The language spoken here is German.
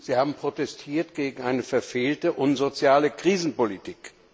Sie haben protestiert gegen eine verfehlte, unsoziale Krisenpolitik.